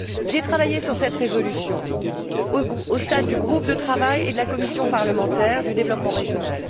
J'ai travaillé sur cette résolution au stade du groupe de travail et de la commission parlementaire du développement régional.